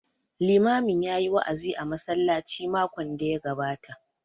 Limamin ya yi wa'azi a masallacin makon da ya gabata